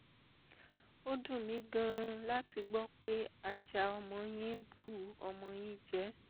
ó dùn mí gan-an láti gbọ́ pé ajá ọmọ yín bu ọmọ yín jẹ